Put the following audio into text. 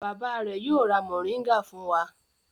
Bàbá rẹ̀ yóò ra mòríngà fún wa.